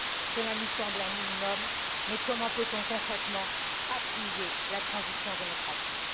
Cela nous semble un minimum, mais comment peut on concrètement appuyer la transition démocratique?